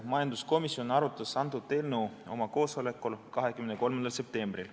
Majanduskomisjon arutas antud eelnõu oma koosolekul 23. septembril.